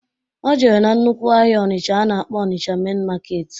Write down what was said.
O jere na nnukwu ahịa Ọnisha a na-akpọ Ọnisha mein maketi